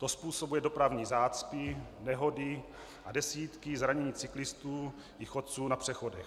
To způsobuje dopravní zácpy, nehody a desítky zraněných cyklistů i chodců na přechodech.